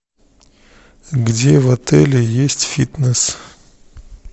где в отеле есть фитнес